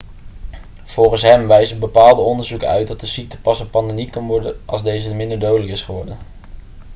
volgens hem wijzen bepaalde onderzoeken uit dat de ziekte pas een pandemie kan worden als deze minder dodelijk is geworden